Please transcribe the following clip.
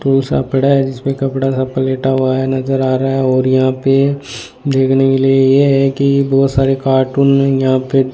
tool सा पड़ा है जिसमें कपड़ा साफ कर लेटा हुआ है नजर आ रहा है और यहां पे देखने के लिए ये है कि बहोत सारे कार्टून यहां पे --